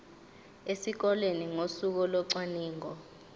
esikoleni ngosuku locwaningo